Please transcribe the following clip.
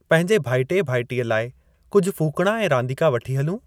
पंहिंजे भाइटिए भाइटीअ लाइ कुझु फूकणा ऐं रांदीका वठी हलूं?